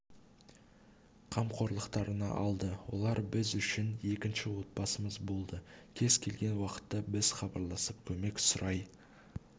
қамқорлықтарына алды олар біз үшін екінші отбасымыз болды кез келген уақытта біз хабарласып көмек сұрай